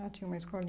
Ah, tinha uma